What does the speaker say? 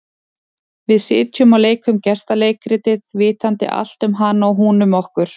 Við sitjum og leikum gestaleikritið, vitandi allt um hana og hún um okkur.